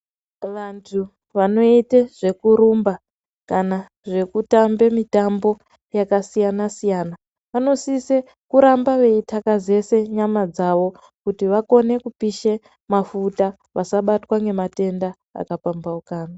Vantu vanoite zvekurumba kana zvekutambe mitambo yakasiyana-siyana vanosise kuramba veitakazese nyama dzavo kuti vagone kupishe mafuta vasabatwa nematenda akapambaukana.